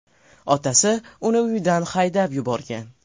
Otasi uni uyidan haydab yuborgan.